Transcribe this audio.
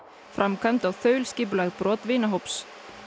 framkvæmd og þaulskipulögð brot vinahóps